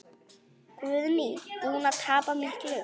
Guðný: Búinn að tapa miklu?